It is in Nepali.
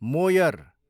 मोयर